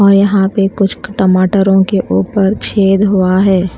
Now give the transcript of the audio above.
और यहां पे कुछ क टमाटरों के ऊपर छेद हुआ है।